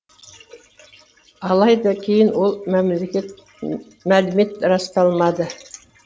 алайда кейін ол мәлімет расталмады